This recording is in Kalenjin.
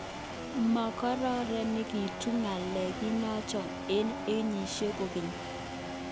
Mokoronekitun nga'lek kinoche'nge onyigisit kogeny